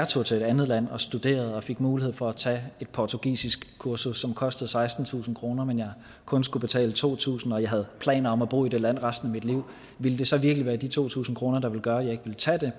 tog til et andet land og studerede og fik mulighed for at tage et portugisiskkursus som kostede sekstentusind kr men jeg kun skulle betale to tusind og jeg havde planer om at bo i det land resten af mit liv ville det så virkelig være de to tusind kr der ville gøre at jeg ikke ville tage det